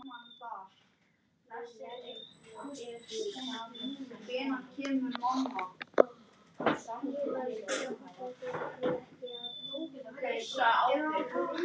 Hann meinar allt sitt mál.